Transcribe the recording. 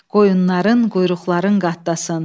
Qoyunların quyruqların qatdasın.